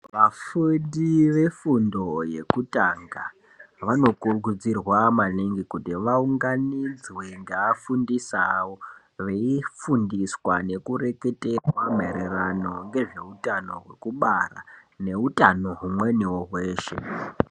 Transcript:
Vafundi vefundo yekutanga vanokurudzirwa maningi kuti vaunganidzwe ngeaafundisi veifundiswa nekureketerwa maererano nezveutano hwekubara neutano humweniwo hweshe.